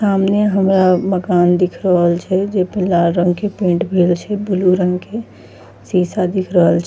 सामने हमरा मकान दिख रहल छै जे पे लाल रंग के पेंट भेल छै ब्लू रंग के शीशा दिख रहल छै।